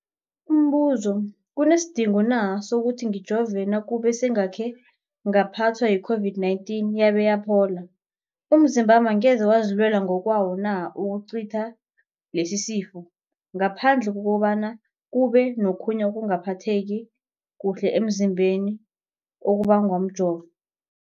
Umbuzo, kunesidingo na sokuthi ngijove nakube sengakhe ngaphathwa yi-COVID-19 yabe yaphola? Umzimbami angeze wazilwela ngokwawo na ukucitha lesisifo, ngaphandle kobana kube nokhunye ukungaphatheki kuhle emzimbeni okubangwa mjovo?